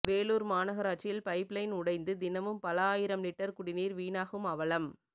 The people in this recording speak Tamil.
வேலூர் மாநகராட்சியில் பைப் லைன் உடைந்து தினமும் பல ஆயிரம் லிட்டர் குடிநீர் வீணாகும் அவலம்